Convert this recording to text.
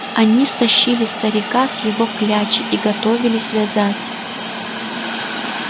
они стащили старика с его клячи и готовились вязать